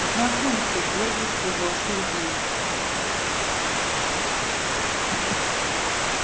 знакомься гордо сказал сергей